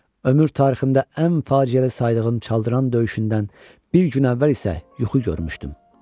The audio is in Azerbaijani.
Ömür tariximdə ən faciəli saydığım Çaldıran döyüşündən bir gün əvvəl isə yuxu görmüşdüm.